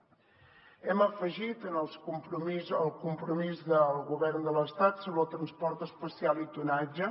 hi hem afegit el compromís del govern de l’estat sobre el transport especial i tonatge